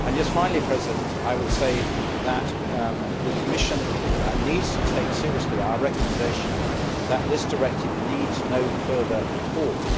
Finally, I would say that the Commission needs to take seriously our recommendation that this directive needs no further reforms.